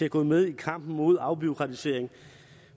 at gå med i kampen mod afbureaukratisering